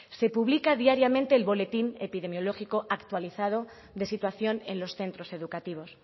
se publica diariamente el boletín epidemiológico actualizado de situación en los centros educativos